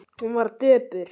Hún var döpur.